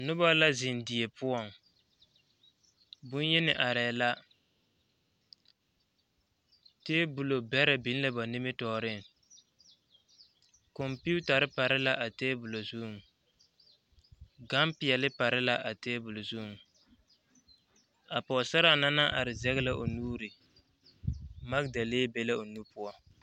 Noba la be die poɔŋ boŋyeni arɛɛ la tebolbɛrɛ biŋ la ba nimitpuoriŋ kompeetare pare la a tebol zuŋ gampeɛle pare a tebol zuŋ a pɔgesaraa na naŋ are zɛge la o nuuri magedalee be la o nu poɔ.